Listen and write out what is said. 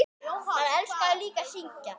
Hann elskaði líka að syngja.